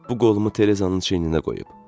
Bu qolumu Terezaın çiyninə qoyub.